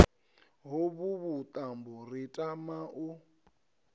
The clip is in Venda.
hovhu vhuṱambo ri tama u